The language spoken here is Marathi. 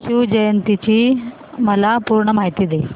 शिवजयंती ची मला पूर्ण माहिती दे